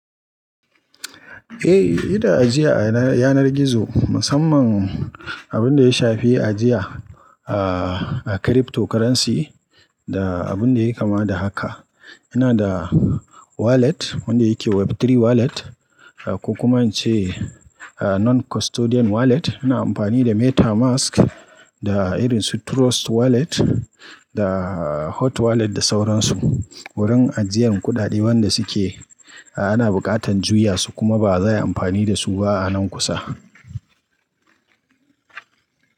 Eh, ina ajiya a yanar gizo, musamman abin da ya shafi ajiya a cryptocurrency da abun da yake kama da haka, ina da wallet wanda yake Web3 wallet, ko kuma in ce non-custodian wallet. Ana amfani da MetaMask da irin su Trust Wallet da hot wallet da sauransu. Wurin ajiyan kuɗaɗe wanda suke, ana buƙatar juya su kuma ba za a yi amfani da su ba a nan kusa.